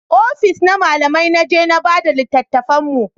Ofis na malamai na je na bada littatafan mu